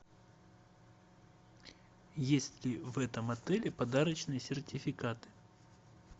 есть ли в этом отеле подарочные сертификаты